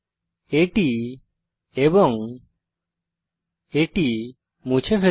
এটি এবং এটি মুছে ফেলুন